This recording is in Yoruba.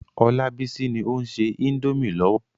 Olabisi ni ó ń se indomie lọ́wọ́.